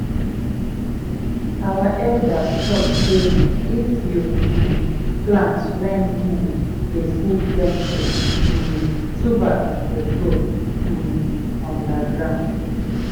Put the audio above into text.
our elders talk sey if you um plant when moon dey full plenty um tuber go grow um under ground.